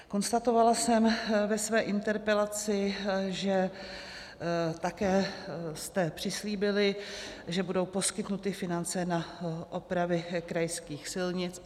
Konstatovala jsem ve své interpelaci, že jste také přislíbili, že budou poskytnuty finance na opravy krajských silnic.